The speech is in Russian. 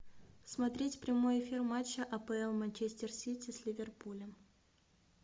смотреть прямой эфир матча апл манчестер сити с ливерпулем